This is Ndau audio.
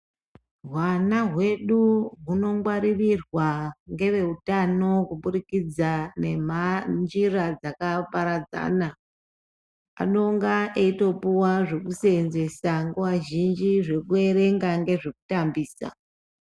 Hwana hwedu hunongwaririrwa ngeveutano kubudikidza nenjira dzakaparadzana. Anonga eitopuwa zvekuseenzesa nguva zhinji, zvekuerenga nezvekutambisa.